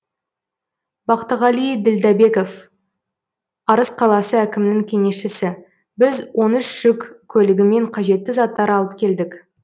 бақтығали ділдәбеков арыс қаласы әкімінің кеңесшісі біз он үш жүк көлігімен қажетті заттар алып келдік